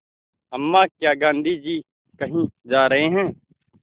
अम्मा क्या गाँधी जी कहीं जा रहे हैं